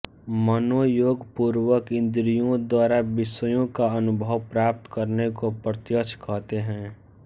मनोयोगपूर्वक इंद्रियों द्वारा विषयों का अनुभव प्राप्त करने को प्रत्यक्ष कहते हैं